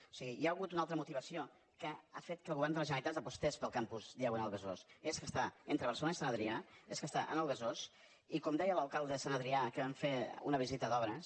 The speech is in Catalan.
o sigui hi ha hagut una altra motivació que ha fet que el govern de la generalitat apostés pel campus diagonal besòs és que està entre barcelona i sant adrià és que està en el besòs i com deia l’alcalde de sant adrià amb qui vam fer una visita d’obres